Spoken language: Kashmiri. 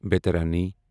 بیترانی